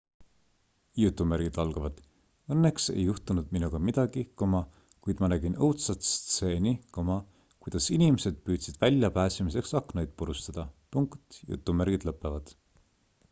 """õnneks ei juhtunud minuga midagi kuid ma nägin õudsat stseeni kuidas inimesid püüdsid väljapääsemiseks aknaid purustada.